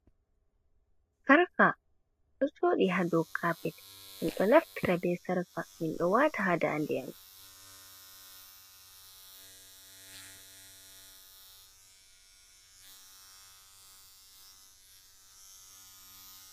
Sarka, ɗo jooɗi haa dow kaapet, min ɗo naftira bee sarka min ɗo waata haa daande.